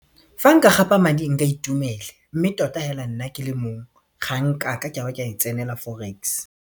Fa nka gapa madi nka itumela mme tota hela nna ke le mongwe ga nkake kabe ka e tsenela forex.